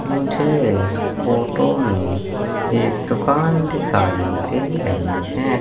मुझे इस फोटो में एक दुकान दिखाई दे रही है।